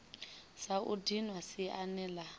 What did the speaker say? sa u dinwa siani la